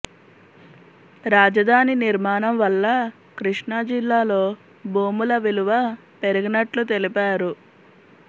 రాజధాని నిర్మాణం వల్ల కృష్ణా జిల్లాలో భూముల విలువ పెరిగినట్లు తెలిపారు